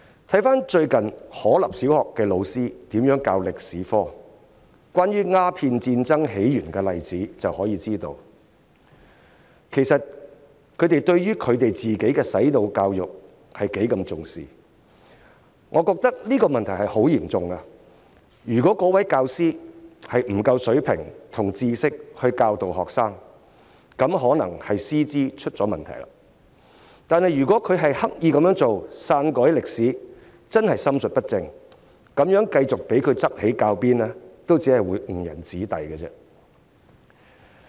看看最近可立小學的教師教授歷史科關於鴉片戰爭起源的例子便可以知道，他們對於自己的"洗腦"教育是多麼重視，我認為這問題是十分嚴重的，如果該位教師沒有足夠水平和知識教導學生，那可能是師資出現問題，但如果他刻意篡改歷史，便真的是心術不正，讓他繼續執起教鞭，也只會誤人子弟。